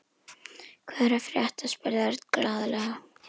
Hvað er að frétta? spurði Örn glaðlega.